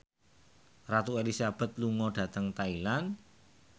Ratu Elizabeth lunga dhateng Thailand